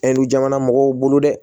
Ɛri jamana mɔgɔw bolo dɛ